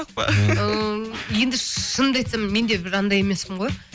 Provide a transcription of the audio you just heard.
ммм енді шынымды айтсам мен де бір анандай емеспін ғой